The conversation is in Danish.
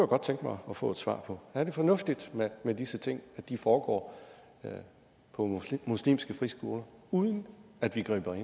godt tænke mig at få et svar på er det fornuftigt at disse ting foregår på muslimske friskoler uden at vi griber